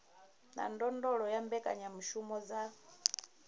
na ndondolo ya mbekanyamushumo dza